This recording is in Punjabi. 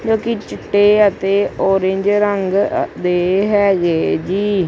ਜੋ ਕਿ ਚਿੱਟੇ ਅਤੇ ਔਰੰਜ ਰੰਗ ਦੇ ਹੈਗੇ ਜੀ।